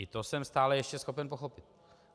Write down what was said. I to jsem stále ještě schopen pochopit.